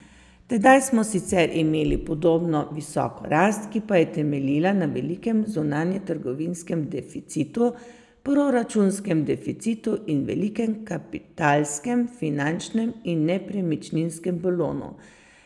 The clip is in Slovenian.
Tedaj smo sicer imeli podobno visoko rast, ki pa je temeljila na velikem zunanjetrgovinskem deficitu, proračunskem deficitu in velikem kapitalskem, finančnem in nepremičninskem balonu.